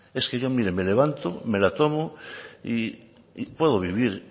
es que yo mire me levanto me la tomo y puedo vivir